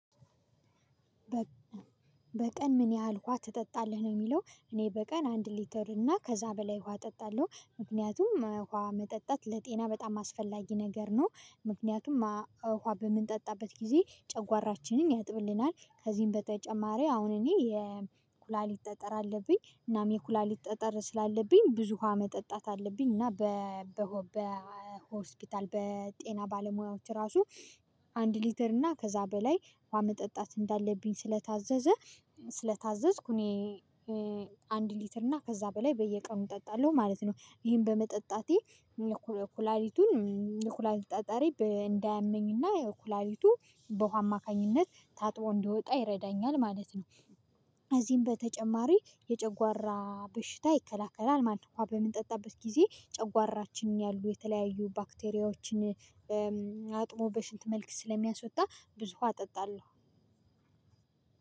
በቀን ምን ያህል ውሃ ትጠጣለህ ነው የሚለው? እኔ በቀን አንድ ሊትር እና ከዛ በላይ ውሃ እጠጣለሁ ምክንያቱም ውሃ መጠጣት ለጤና በጣም አስፈላጊ ነገር ነው። ምክንያቱም ውሃ በምንጠጣበት ጊዜ ጨጓራችንን ያጥብልናል ከዚህም በተጨማሪ አሁን እኔ የኩላሊት ጠጠር አለብኝ እናም የኩላሊት ጠጠር ስላለብኝ ብዙ ውሃ መጠጣት አለብኝ እና በ በ በ በጤና ባለሙያዎች ራሱ አንድ ሊትር እና ከዛ በላይ ውሃ መጠጣት እንዳለብኝ ስለታዘዘ። ስለታዘዝኩ እኔ አንድ ሊትር እና ከዛ በላይ በየቀኑ እጠጣለሁ ማለት ነው። ይሄን በመጠጣቴ ኩላሊቱን ኩላሊት ጠጠሬ እንዳያመኝና የኩላሊቱ በውሃ አማካኝነት ታጥቦ እንዲወጣ ይረዳኛል ማለት ነው። እዚህም በተጨማሪ የጨጓራ በሽታ ይከላከላል ማለት ነው። ውሃ በምንጠጣበት ጊዜ ጨጓራችንን ያሉ የተለያዩ ባክቴሪያዎችን አጥቦ በሽንት መልክ ስለሚያስወጣ ብዙ አጠጣለሁ።